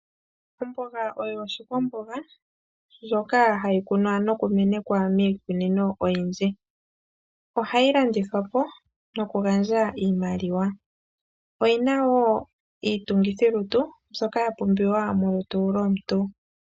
Omboga oyo oshikwamboga, shono hashi kunwa nokumenekwa miikunino oyindji. Ohayi landithwapo, nokugandja iimaliwa. Oyina wo iitungithilutu mbyoka ya pumbiwa molutu lwomuntu.